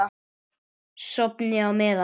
Sofnið á meðan.